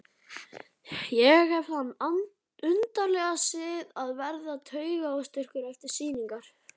Ég hef þann undarlega sið að verða taugaóstyrkur eftir sýningar.